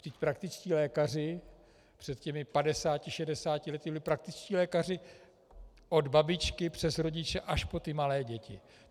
Vždyť praktičtí lékaři před těmi 50, 60 lety byli praktičtí lékaři od babičky přes rodiče až po ty malé děti.